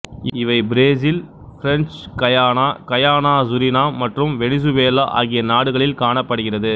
இவை Brazil French Guiana Guyana Suriname மற்றும் Venezuela ஆகிய நாடுகளில் காணப்படுகிறது